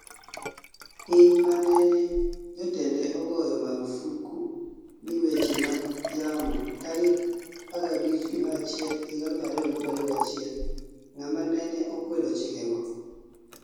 Piny manene Jatende ogoyo marufuk ni weche mag yamo tarik 15 Januari 2021 ngama nene okwedo chikego